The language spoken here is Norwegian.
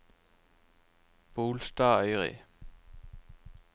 Bolstadøyri